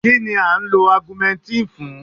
Kínni à ń lo Augumentínì fún?